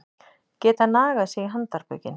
Geta nagað sig í handarbökin